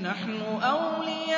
نَحْنُ أَوْلِيَاؤُكُمْ